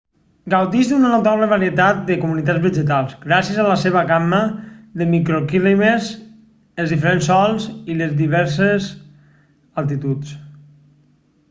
gaudeix d'una notable varietat de comunitats vegetals gràcies a la seva gamma de microclimes els diferents sòls i les diverses altituds